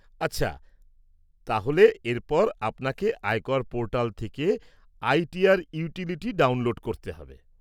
আচ্ছা, তাহলে এরপর আপনাকে আয়কর পোর্টাল থেকে আইটিআর ইউটিলিটি ডাউনলোড করতে হবে।